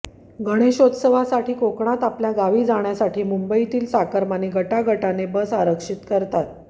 गणेशोत्सवासाठी कोकणात आपल्या गावी जाण्यासाठी मुंबईतील चाकरमानी गटागटाने बस आरक्षित करतात